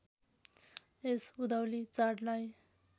यस उधौली चाडलाई